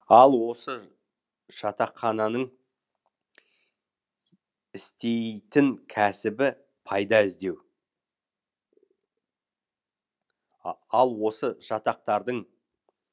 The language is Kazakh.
ал осы жатаққананың істейтін кәсібі пайда іздеу ал осы жатақтардың